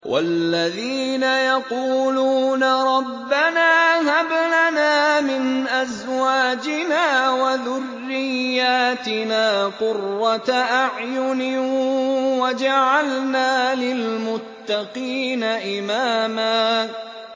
وَالَّذِينَ يَقُولُونَ رَبَّنَا هَبْ لَنَا مِنْ أَزْوَاجِنَا وَذُرِّيَّاتِنَا قُرَّةَ أَعْيُنٍ وَاجْعَلْنَا لِلْمُتَّقِينَ إِمَامًا